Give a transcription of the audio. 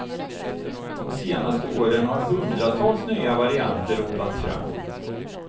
De senaste åren har hundratals nya varianter odlats fram.